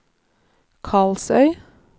Karlsøy